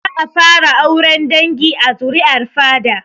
Za a fara auren dangi a zuri'ar fada